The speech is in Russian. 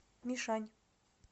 мишань